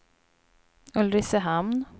Ulricehamn